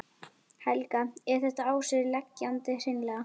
Helga: Er þetta á sig leggjandi hreinlega?